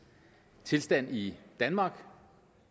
tilstand i danmark